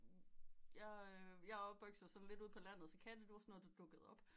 Jeg er opvokset sådan lidt ude på landet så katte det var sådan noget der dukkede op